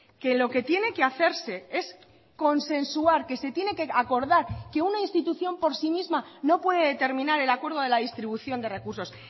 que lo que tiene que hacerse es consensuar que se tiene que acordar que una institución por sí misma no puede determinar el acuerdo de la distribución de recursos